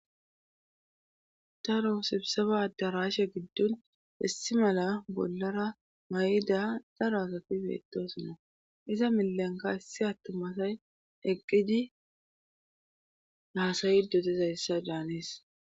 Taro sibsefa addaraashe giddun hissi mala bollara may7ida dara asatibeettosunna iza milenka issi attumasay eqqidi naasayi dotizayssa daanees